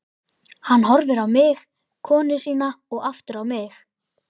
Hann horfir á mig, konu sína og aftur á mig.